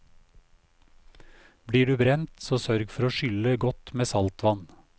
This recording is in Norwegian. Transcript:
Blir du brent, så sørg for å skylle godt med saltvann.